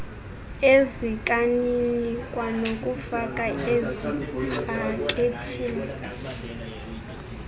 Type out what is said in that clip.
ezikanini kwanokufaka ezipakethini